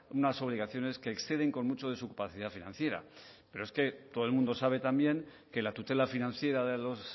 unas obligaciones que exceden con mucho de su capacidad financiera pero es que todo el mundo sabe también que la tutela financiera de los